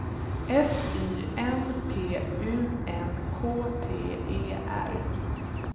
S Y N P U N K T E R